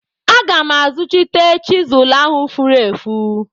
Aga m azuchite chizụl ahụ furu efu.